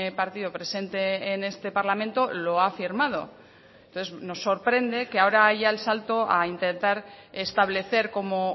partido presente en este parlamento lo ha firmado entonces nos sorprende que ahora haya el salto a intentar establecer como